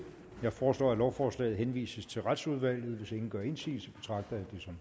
jeg foreslår at lovforslaget henvises til retsudvalget hvis ingen gør indsigelse betragter